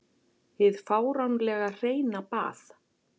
Hið fáránlega hreina bað.